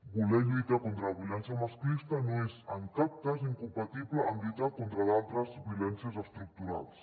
voler lluitar contra la violència masclista no és en cap cas incompatible amb lluitar contra altres violències estructurals